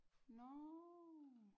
Nårh